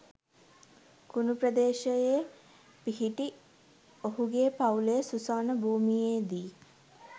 කුණු ප්‍රදේශයේ පිහිටි ඔහුගේ පවුලේ සුසාන භූමියේදී